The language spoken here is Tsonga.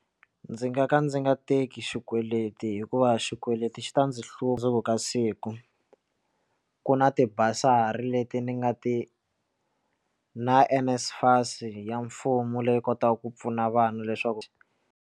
Ndzi nga ka ndzi nga teki xikweleti hikuva xikweleti xi ta ndzi hlundzuka siku ku na ti-bursary leti ni nga na ti NSFAS ya mfumo leyi kotaka ku pfuna vanhu leswaku.